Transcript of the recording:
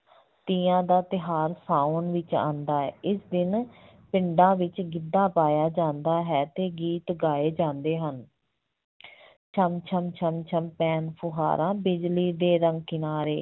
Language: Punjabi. ਤੀਆਂ ਦਾ ਤਿਉਹਾਰ ਸਾਵਣ ਵਿੱਚ ਆਉਂਦਾ ਹੈ, ਇਸ ਦਿਨ ਪਿੰਡਾਂ ਵਿੱਚ ਗਿੱਧਾ ਪਾਇਆ ਜਾਂਦਾ ਹੈ ਤੇ ਗੀਤ ਗਾਏ ਜਾਂਦੇ ਹਨ ਛਣ ਛਣ ਛਣ ਛਣ ਪੈਣ ਫੁਹਾਰਾਂ ਬਿਜਲੀ ਦੇ ਰੰਗ ਕਿਨਾਰੇ,